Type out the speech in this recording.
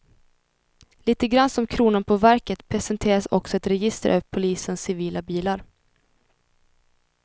Lite grann som kronan på verket presenteras också ett register över polisens civila bilar.